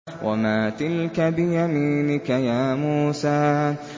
وَمَا تِلْكَ بِيَمِينِكَ يَا مُوسَىٰ